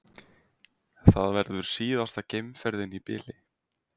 Það verður síðasta geimferðin í bili